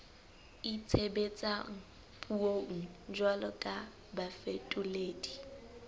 itshebetsang puong jwalo ka bafetoledi